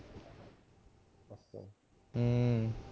ਹਮ